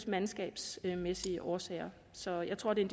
mandskabsmæssige årsager så jeg tror det er